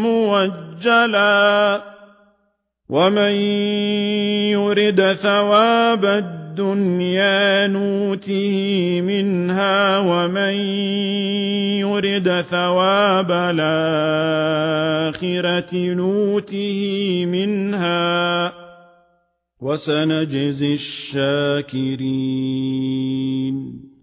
مُّؤَجَّلًا ۗ وَمَن يُرِدْ ثَوَابَ الدُّنْيَا نُؤْتِهِ مِنْهَا وَمَن يُرِدْ ثَوَابَ الْآخِرَةِ نُؤْتِهِ مِنْهَا ۚ وَسَنَجْزِي الشَّاكِرِينَ